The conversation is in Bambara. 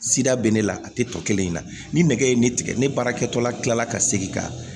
Sida bɛ ne la a tɛ tɔ kelen in na ni nɛgɛ ye ne tigɛ ne baara kɛtɔla tilala ka segin ka